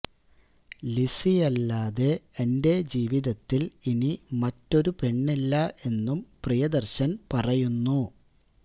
ലിസിയല്ലാതെ എന്റെ ജീവിതത്തില് ഇനി മറ്റൊരു പെണ്ണില്ല എന്നും പ്രിയദര്ശന് പറയുന്നു